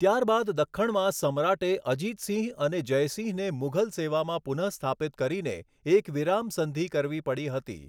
ત્યારબાદ દખ્ખણમાં સમ્રાટે અજિતસિંહ અને જયસિંહને મુઘલ સેવામાં પુનઃસ્થાપિત કરીને એક વિરામ સંધિ કરવી પડી હતી.